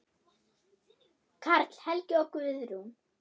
Karl Helgi og Guðrún.